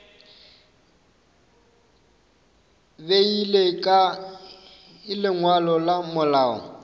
beile kae lengwalo la malao